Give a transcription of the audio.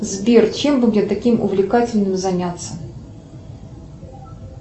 сбер чем бы мне таким увлекательным заняться